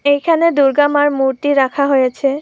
এখানে দুর্গা মার মূর্তি রাখা হয়েছে ।